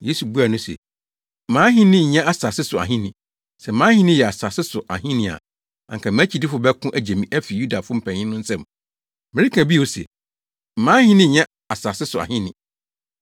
Yesu buaa no se, “Mʼahenni nyɛ asase so ahenni; sɛ mʼahenni yɛ asase so ahenni a, anka mʼakyidifo bɛko agye me afi Yudafo mpanyimfo no nsam. Mereka bio se, mʼahenni nyɛ asase so ahenni.”